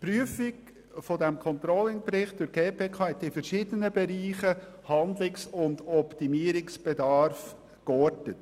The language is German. Die Prüfung dieses Controlling-Berichts durch die GPK hat in verschiedenen Bereichen Handlungs- und Optimierungsbedarf geortet.